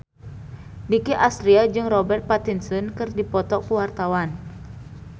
Nicky Astria jeung Robert Pattinson keur dipoto ku wartawan